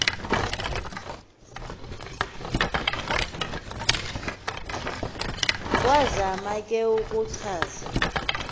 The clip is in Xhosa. wazama ke ukuchaza